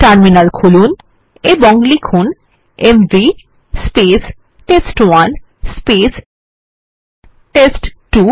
terminal খুলুন এবং লিখুন এমভি টেস্ট1 টেস্ট2